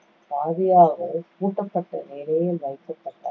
பகுதியாகவோ பூட்டப்பட்ட நிலையில் வைக்கப்பட்ட~